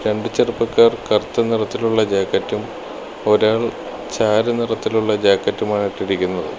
രണ്ട് ചെറുപ്പക്കാർ കറുത്ത നിറത്തിലുള്ള ജാക്കറ്റും ഒരാൾ ചാരനിറത്തിലുള്ള ജാക്കറ്റുമാണ് ഇട്ടിരിക്കുന്നത്.